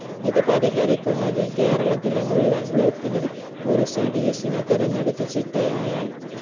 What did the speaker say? ഇത് പരിഹരിക്കുന്നതിന് കേരത്തിലെ മുഴുവൻ block ലും ഒര് cds നെ തെരഞ്ഞെടുത്ത് ചിട്ടയായ